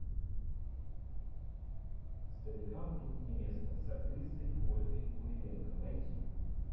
старикам тут не место с актрисой ольгой куриленко найти